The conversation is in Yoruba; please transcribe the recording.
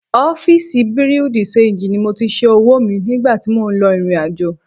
Ọfíísì Bùréú dì ṣenjì ni mo ti ṣẹ́ owó mi nígbà tí mò ń lọ ìrìnàjò